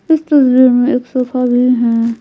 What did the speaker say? इस तस्वीर में एक सोफा भी है।